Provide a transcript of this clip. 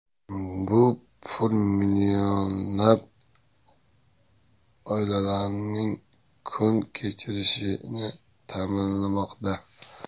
Bu pul millionlab oilalarning kun kechirishini ta’minlamoqda.